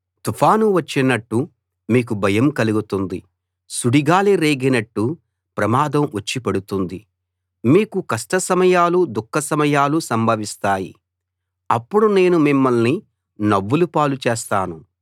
తుఫాను వచ్చినట్టు మీకు భయం కలుగుతుంది సుడిగాలి రేగినట్టు ప్రమాదం వచ్చి పడుతుంది మీకు కష్ట సమయాలు దుఃఖ సమయాలు సంభవిస్తాయి అప్పుడు నేను మిమ్మల్ని నవ్వుల పాలు చేస్తాను